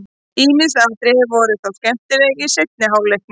Ýmis atriði voru þó skemmtileg í seinni hálfleiknum.